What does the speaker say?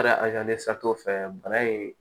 fɛ bana in